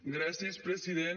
gràcies president